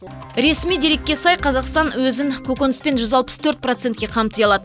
ресми дерекке сай қазақстан өзін көкөніспен жүз алпыс төрт процентке қамти алады